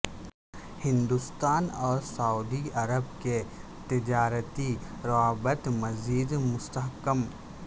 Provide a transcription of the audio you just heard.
ہندوستان اور Saudi Arab کے تجارتی روابط مزید مستحکم